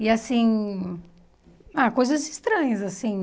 E assim... Ah, coisas estranhas, assim.